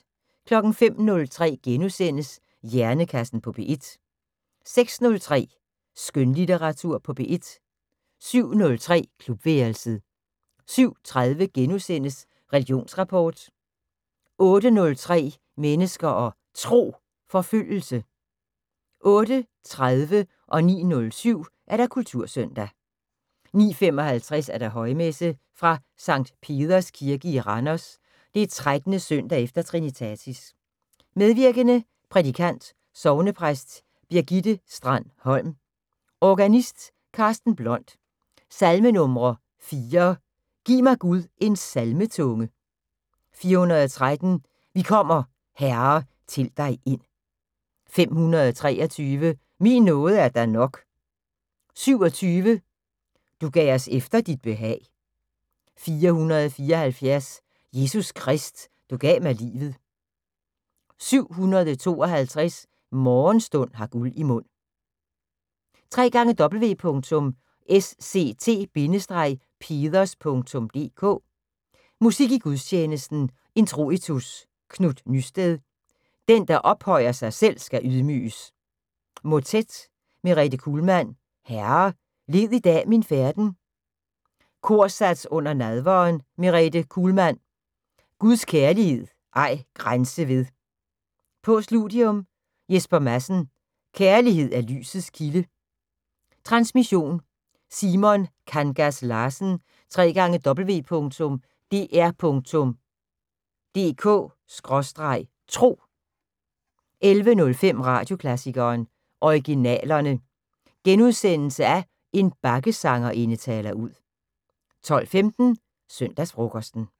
05:03: Hjernekassen på P1 * 06:03: Skønlitteratur på P1 07:03: Klubværelset 07:30: Religionsrapport * 08:03: Mennesker og Tro: Forfølgelse 08:30: Kultursøndag 09:07: Kultursøndag 09:55: Højmesse - fra Sct. Peders kirke i Randers. 13. søndag efter trinitatis. Medvirkende: Prædikant: Sognepræst Birgitte Strand-Holm. Organist: Karsten Blond. Salmenumre: 4: "Giv mig Gud en salmetunge". 413: "Vi kommer, Herre, til dig ind". 523: "Min nåde er dig nok". 27: "Du gav os efter dit behag". 474: "Jesus Krist, du gav mig livet". 752: "Morgenstund har guld i mund". www.sct-peders.dk Musik i gudstjenesten: Introitus: Knut Nystedt: "Den, der ophøjer sig selv, skal ydmyges". Motet: Merete Kuhlmann: "Herre, led i dag min færden". Korsats under nadveren: Merete Kuhlmann: "Guds kærlighed ej grænse ved". Postludium: Jesper Madsen: "Kærlighed er lysets kilde". Transmission: Simon Kangas Larsen. www.dr.dk/tro 11:05: Radioklassikeren: Originalerne. En bakkesangerinde taler ud * 12:15: Søndagsfrokosten